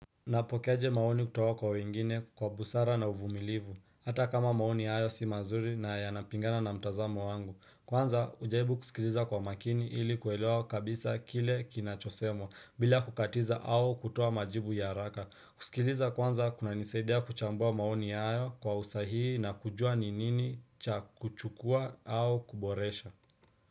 Napokeaje maoni kutoka kwa wengine kwa busara na uvumilivu, hata kama maoni hayo si mazuri na yanapingana na mtazamo wangu. Kwanza, hujaribu kusikiliza kwa makini ili kuelewa kabisa kile kinachosemwa bila kukatiza au kutoa majibu ya haraka. Kusikiliza kwanza kunanisaidia kuchambua maoni hayo kwa usahihi na kujua ni nini cha kuchukua au kuboresha.